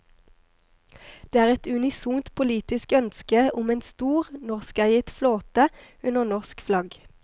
Det er et unisont politisk ønske om en stor, norskeiet flåte under norsk flagg.